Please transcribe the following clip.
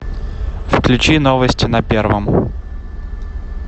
включи новости на первом